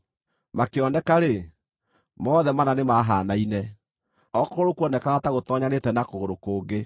Makĩoneka-rĩ, mothe mana nĩmahaanaine; o kũgũrũ kuonekaga ta gũtoonyanĩte na kũgũrũ kũngĩ.